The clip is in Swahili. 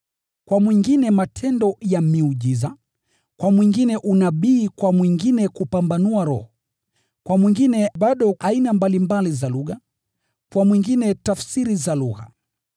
Kwa mwingine matendo ya miujiza, kwa mwingine unabii kwa mwingine kupambanua roho, kwa mwingine aina mbalimbali za lugha, na kwa mwingine bado, tafsiri za lugha.